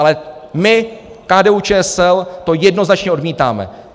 Ale my, KDU-ČSL, to jednoznačně odmítáme.